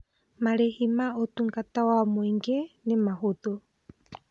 Marĩhi ma ũtungata wa mũingĩ nĩ mahũthũ.